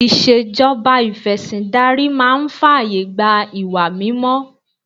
Ìṣèjọba ìfẹ̀sìndarí máa ń fàyè gba ìwà mímọ́